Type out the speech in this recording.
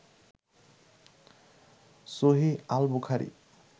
সহীহ al Bukhari